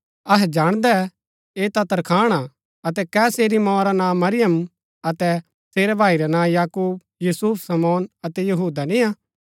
अहै जाणदै ऐह ता तरखाण हा अतै कै सेरी मोआ रा नां मरियम अतै सेरै भाई रै नां याकूब यूसुफ शमौन अतै यहूदा नियां